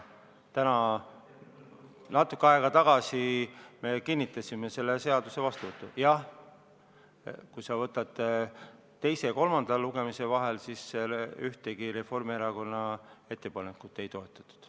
Jah, teise ja kolmanda lugemise vahel ühtegi Reformierakonna ettepanekut ei toetatud.